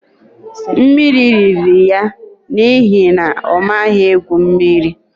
Mmiri riri ya n'ihi na ọ maghị egwu mmiri